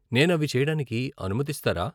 నేను అవి చెయ్యడానికి అనుమతిస్తారా?